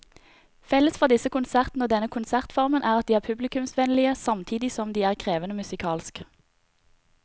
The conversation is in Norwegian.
Felles for disse konsertene og denne konsertformen er at de er publikumsvennlige samtidig som de er krevende musikalsk.